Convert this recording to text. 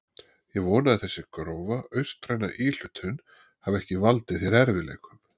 Ég vona að þessi grófa austræna íhlutun hafi ekki valdið þér erfiðleikum.